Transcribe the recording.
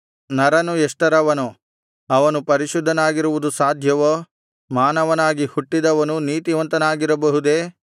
ನರನು ಎಷ್ಟರವನು ಅವನು ಪರಿಶುದ್ಧನಾಗಿರುವುದು ಸಾಧ್ಯವೋ ಮಾನವನಾಗಿ ಹುಟ್ಟಿದವನು ನೀತಿವಂತನಾಗಿರಬಹುದೇ